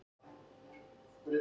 Jörvar, hvað er klukkan?